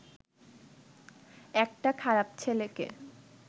একটা খারাপ ছেলেকে